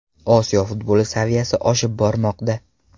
Osiyo futboli saviyasi oshib bormoqda.